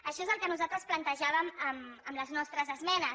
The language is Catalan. això és el que nosaltres plantejàvem amb les nostres esmenes